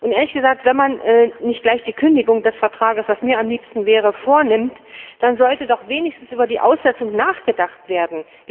Ehrlich gesagt, wenn man nicht gleich die Kündigung des Vertrags, was mir am liebsten wäre, vornimmt, dann sollte doch wenigstens über die Aussetzung nachgedacht werden.